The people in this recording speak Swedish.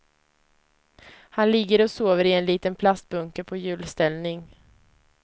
Han ligger och sover i en liten plastbunke på hjulställning.